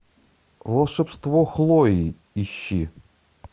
волшебство хлои ищи